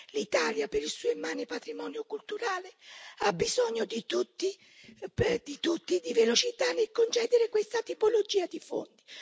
L'Italia, per il suo immane patrimonio culturale, ha bisogno più di tutti di velocità nel concedere questa tipologia di fondi.